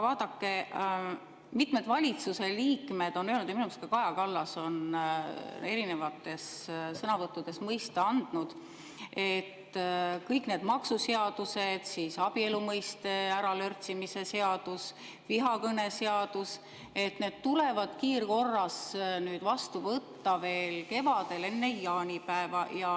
Vaadake, mitmed valitsuse liikmed on öelnud ja minu arust ka Kaja Kallas on erinevates sõnavõttudes mõista andnud, et kõik need maksuseadused, abielu mõiste äralörtsimise seadus ja vihakõneseadus tuleb kiirkorras vastu võtta veel kevadel, enne jaanipäeva.